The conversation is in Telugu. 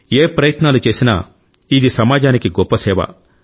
ఏ ప్రయత్నాలు చేసినా ఇది సమాజానికి గొప్ప సేవ